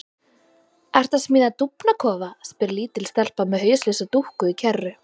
Ertu að smíða dúfnakofa? spyr lítil stelpa með hauslausa dúkku í kerru.